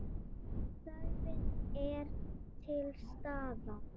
Þörfin er til staðar.